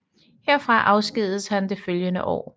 Herfra afskedigedes han det følgende år